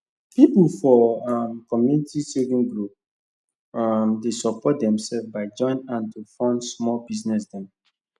people for um community saving group um dey support themselves by join hand to fund small business dem